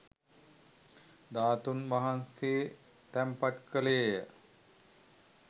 ධාතූන් වහන්සේ තැන්පත් කෙළේය.